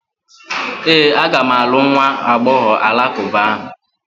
Ee, aga m alụ nwa agbọghọ alakụba ahụ.